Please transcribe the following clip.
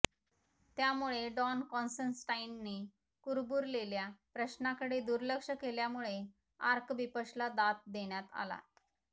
त्यामुळे डॉन कॉन्स्टन्टाइनने कुरबुरलेल्या प्रश्नाकडे दुर्लक्ष केल्यामुळे आर्कबिशपला दात देण्यात आला